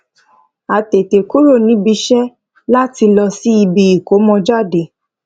a tètè kúrò níbi iṣẹ láti lọ síbi ìkómọjáde